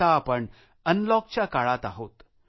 आता आपण अनलॉक च्या काळात आहोत